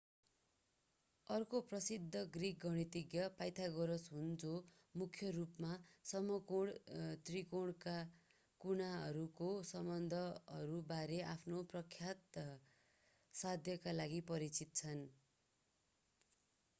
अर्का प्रसिद्ध ग्रिक गणितज्ञ pythagoras हुन्‌ जो मूख्य रूपमा समकोणी त्रिकोणका कुनाहरूको सम्बन्धहरू बारेमा आफ्नो प्रख्यात साध्यका लागि परिचित छन्।